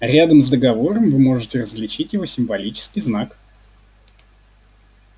рядом с договором вы можете различить его символический знак